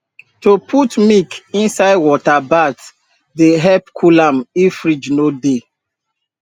to put milk inside water bath dey help cool am if fridge no dey